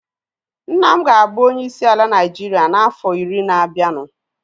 Nna m ga-abụ onye isi ala Naịjiria na afọ iri ga-abianu